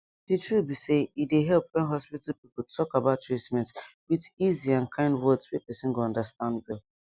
the truth be say e dey help when hospital people talk about treatment with easy and kind words wey person go understand well